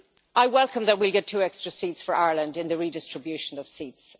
I welcome that we will get two extra seats for Ireland in the redistribution of seats.